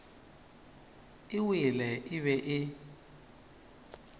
e wele e be e